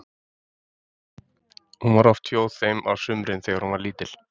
Hún var oft hjá þeim á sumrin þegar hún var lítil.